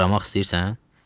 Fırlanmaq istəyirsən?